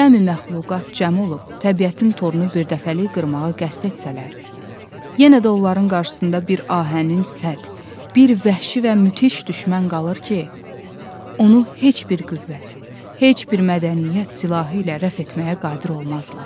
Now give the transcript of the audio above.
Cəmi məxluqat cəm olub təbiətin torunu birdəfəlik qırmağa qəsd etsələr, yenə də onların qarşısında bir ahənin səd, bir vəhşi və müthiş düşmən qalır ki, onu heç bir qüvvət, heç bir mədəniyyət silahı ilə rəf etməyə qadir olmazlar.